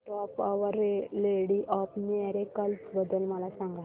feast of our lady of miracles बद्दल मला सांगा